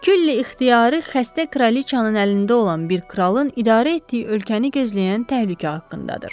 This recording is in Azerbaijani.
Külli ixtiyarı xəstə kraliçanın əlində olan bir kralın idarə etdiyi ölkəni gözləyən təhlükə haqqındadır.